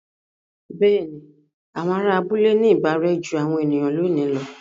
Bẹ́ẹ̀ni, àwọn ará abúlé ní ìbárẹ́ jú àwọn ènìyàn lónìí lọ.